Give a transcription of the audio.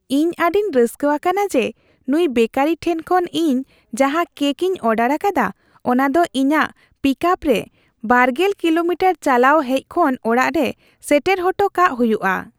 ᱤᱧ ᱟᱹᱰᱤᱧ ᱨᱟᱹᱥᱠᱟᱹ ᱟᱠᱟᱱᱟ ᱡᱮ ᱱᱩᱭ ᱵᱮᱠᱟᱨᱤ ᱴᱷᱮᱱ ᱠᱷᱚᱱ ᱤᱧ ᱡᱟᱦᱟᱸ ᱠᱮᱹᱠ ᱤᱧ ᱚᱰᱟᱨ ᱟᱠᱟᱫᱟ, ᱚᱱᱟ ᱫᱚ ᱤᱧᱟᱹᱜ ᱯᱤᱠᱟᱯ ᱨᱮ ᱒᱐ ᱠᱤᱞᱳᱢᱤᱴᱟᱨ ᱪᱟᱞᱟᱣ ᱦᱮᱡ ᱠᱷᱚᱱ ᱚᱲᱟᱜ ᱨᱮ ᱥᱮᱴᱮᱨ ᱦᱚᱴᱚ ᱠᱟᱜ ᱦᱩᱭᱩᱜᱼᱟ ᱾